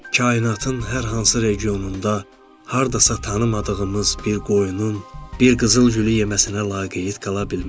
Kainatın hər hansı regionunda, hardasa tanımadığımız bir qoyunun, bir qızıl gülü yeməsinə laqeyd qala bilmərik.